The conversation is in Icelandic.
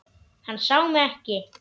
Hann sá mig ekki.